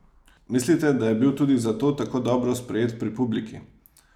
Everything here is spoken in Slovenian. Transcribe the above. Mislite, da je bil tudi zato tako dobro sprejet pri publiki?